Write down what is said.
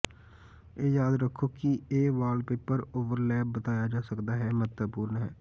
ਇਹ ਯਾਦ ਰੱਖੋ ਕਿ ਇਹ ਵਾਲਪੇਪਰ ਓਵਰਲੈਪ ਬਿਤਾਇਆ ਜਾ ਸਕਦਾ ਹੈ ਮਹੱਤਵਪੂਰਨ ਹੈ